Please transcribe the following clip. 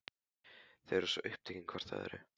Þau eru svo upptekin hvort af öðru.